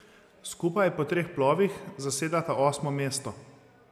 Skupaj po treh plovih zasedata osmo mesto.